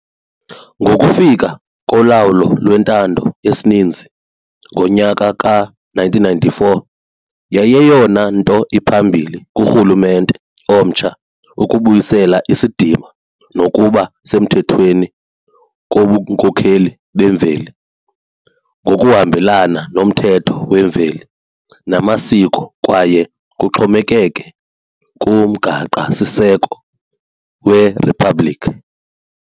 Ngokufika kolawulo lwentando yesininzi ngonyaka ka-1994, yayiyeyona nto iphambili kurhulumente omtsha ukubuyisela isidima nokuba semthethweni kobunkokheli bemveli ngokuhambelana nomthetho wemveli namasiko kwaye kuxhomekeke kuMgaqosiseko weRiphabhlikhi.